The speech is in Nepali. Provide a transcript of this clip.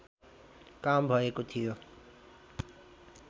काम भएको थियो